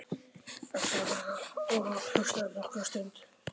Hann svaraði og hlustaði nokkra stund.